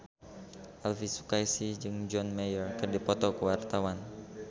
Elvi Sukaesih jeung John Mayer keur dipoto ku wartawan